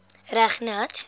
reg nat